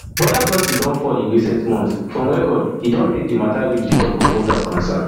border crossing don fall in recent months from record e don make di matta reach di top of voters concerns